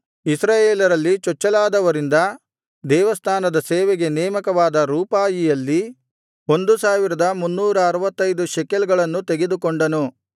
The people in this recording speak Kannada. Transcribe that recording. ಇಸ್ರಾಯೇಲರಲ್ಲಿ ಚೊಚ್ಚಲಾದವರಿಂದ ದೇವಸ್ಥಾನದ ಸೇವೆಗೆ ನೇಮಕವಾದ ರೂಪಾಯಿಯಲ್ಲಿ 1365 ಶೆಕೆಲ್ ಗಳನ್ನು ತೆಗೆದುಕೊಂಡನು